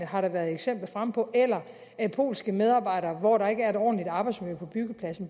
har været eksempler fremme på eller polske medarbejdere som arbejder hvor der ikke er et ordentligt arbejdsmiljø på byggepladsen